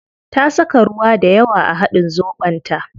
Ta saka ruwa dayawa a hadin zobon ta